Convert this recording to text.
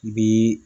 Bi